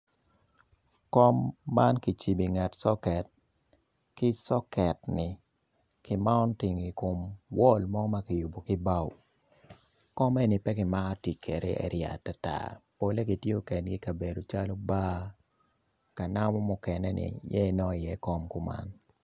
Kom man kicibo i nget soket ki soketni kimauting i kom wol mo ma kiyubo ki bao kom eni pe kimaro tic kwede atata pole kitiyo kwede i kabedo calo bar ka namu mukene tiyo ki kome eni.